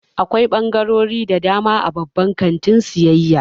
Akwai ɓangarori da dama a babban kantin sayayya.